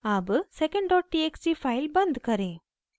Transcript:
अब secondtxt file बंद करें